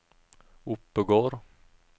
Oppegård